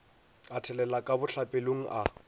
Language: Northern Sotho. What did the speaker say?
a thelela ka bohlapelong a